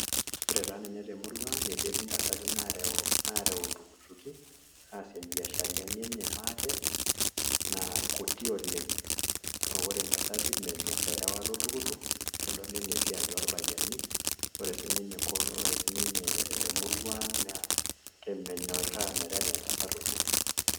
Ore taa ninye te murua ang' ketii intasati nareu iltukutuki aas ibiasharani enye maate naa kuti oleng' ore intasati menyorr erewata oltukutuk ekedol anaa esiai orpayiani ore sininye emurua ang' naa menyorraa meterewa entasat oltukutuk